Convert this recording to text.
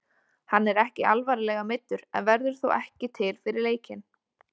Hann er ekki alvarlega meiddur en verður þó ekki til fyrir leikinn.